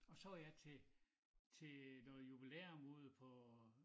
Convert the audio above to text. Og så var jeg til til noget jubilæum ude på